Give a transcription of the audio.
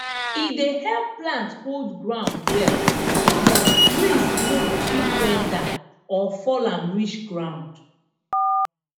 e dey help plant hold ground well so dat breeze no go quick bend am or fall am reach ground